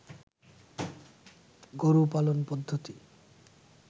গরু পালন পদ্ধতি